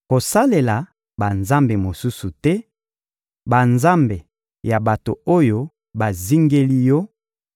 Kosalela banzambe mosusu te, banzambe ya bato oyo bazingeli yo;